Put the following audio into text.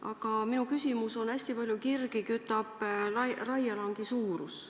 Aga minu küsimus on selle kohta, et hästi palju kirgi kütab raielangi suurus.